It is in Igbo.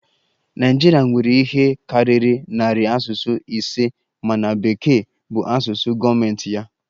Naịjirịa nwere ihe karịrị narị asụsụ ise mana Bekee bụ asụsụ gọọmentị ya